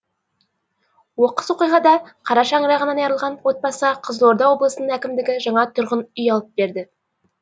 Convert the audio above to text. оқыс оқиғада қара шаңырағынан айырылған отбасыға қызылорда облысының әкімдігі жаңа тұрғын үй алып берді